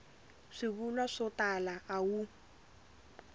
swivulwa swo tala a wu